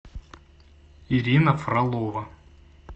ирина фролова